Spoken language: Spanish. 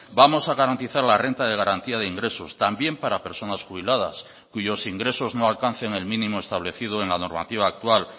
vamos a garantizar la renta de garantía de ingresos también para personas jubiladas cuyos ingresos no alcancen el mínimo establecido en la normativa actual